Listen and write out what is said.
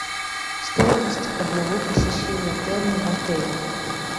стоимость одного посещения термо в отеле